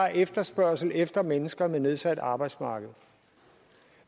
efterspørgsel efter mennesker med nedsat arbejdsevne